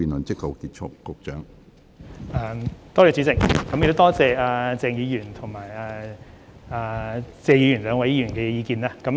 主席，多謝謝議員和鄭議員兩位議員的意見。